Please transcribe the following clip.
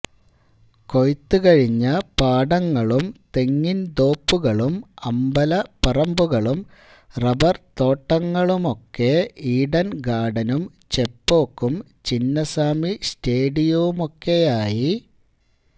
കൊയ്ത്തുകഴിഞ്ഞ പാടങ്ങളും തെങ്ങിന്തോപ്പുകളും അമ്പലപ്പറമ്പുകളും റബ്ബര്ത്തോട്ടങ്ങളുമൊക്കെ ഈഡന്ഗാര്ഡനും ചെപ്പോക്കും ചിന്നസ്വാമി സ്റ്റേഡിയവുമൊക്കെയായി